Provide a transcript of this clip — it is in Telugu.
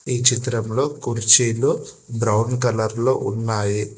ఈ చిత్రంలో కుర్చీలు బ్రౌన్ కలర్ లో ఉన్నాయి.